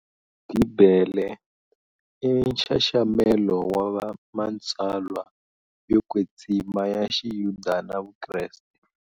Bibele i nxaxamelo wa matsalwa yo kwetsima ya xiyuda na vukreste.